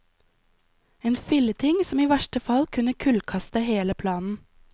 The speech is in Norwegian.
En filleting som i verste fall kunne kullkaste hele planen.